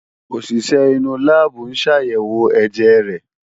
Òṣìṣẹ́ inú láàbù ń ṣàyẹ̀wò ẹ̀jẹ̀ rẹ̀